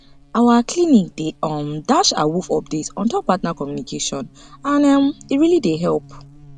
our clinic dey um dash awoof update ontop partner communication and um e really dey help